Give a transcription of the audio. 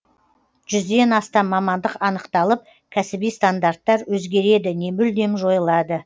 жүзден астам мамандық анықталып кәсіби стандарттар өзгереді не мүлдем жойылады